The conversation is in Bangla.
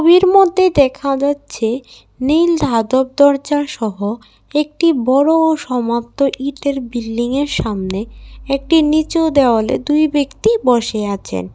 মধ্যে দেখা যাচ্ছে নীল ধাতব দরজা সহ একটি বড় সমাপ্ত ইটের বিল্ডিংয়ের সামনে একটি নিচু দেয়ালে দুই ব্যক্তি বসে আছেন।